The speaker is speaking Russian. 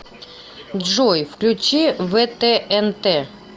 джой включи вэ тэ эн тэ